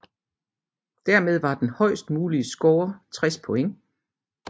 Dermed var den højest mulige score 60 point